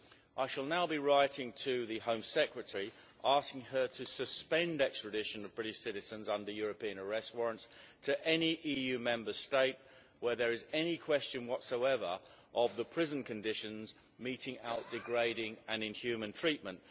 I shall now be writing to the Home Secretary, asking her to suspend the extradition of British citizens under European arrest warrants to any EU Member State where there is any question whatsoever of the prison conditions meting out degrading and inhuman treatment.